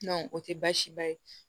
o tɛ baasi ba ye